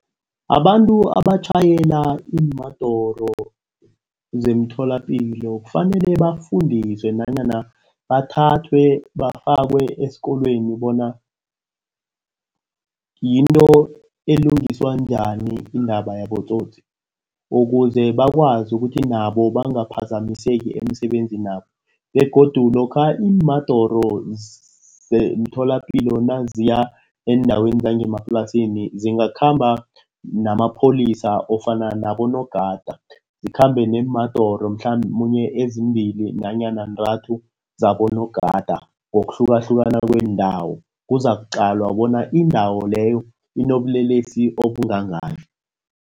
Abantu abatjhayela iimadoro zemtholapilo kufanele bafundiswe nanyana bathathwe bafakwe esikolweni bona yinto elungiswa njani iindaba yabotsotsi. Ukuze bakwazi ukuthi nabo bangaphazamiseki emisebenzini yabo begodu lokha iimadoro zemitholapilo naziya endaweni zangemaplasini zingakhamba namapholisa. Ofana nabonogada, zikhambe neemadoro mhlamunye ezimbili nanyana ntathu zabonogada ngokuhlukahlukana kwendawo. Kuzakuqalwa bona indawo leyo inobulelesi obungakani.